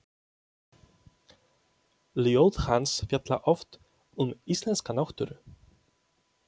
Ljóð hans fjalla oft um íslenska náttúru.